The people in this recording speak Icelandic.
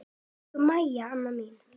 Elsku Mæja amma mín.